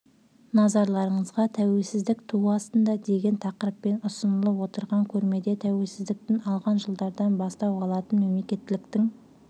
назарларыңызға тәуелсіздік туы астында деген тақырыппен ұсынылып отырған көрмеде тәуелсіздік алған жылдардан бастау алатын мемлекеттіліктің